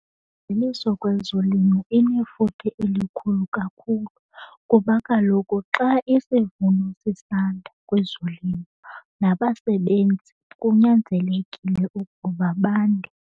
Imveliso kwezolimo inefuthe elikhulu kakhulu kuba kaloku xa isivuno sisanda kwezolimo nabasebenzi kunyanzelekile ukuba bande.